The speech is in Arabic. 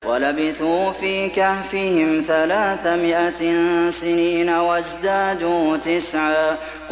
وَلَبِثُوا فِي كَهْفِهِمْ ثَلَاثَ مِائَةٍ سِنِينَ وَازْدَادُوا تِسْعًا